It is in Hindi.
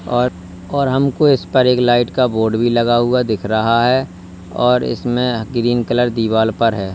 और और हमको इस पर एक लाइट का बोर्ड भी लगा हुआ दिख रहा है और इसमें ग्रीन कलर दीवाल पर है।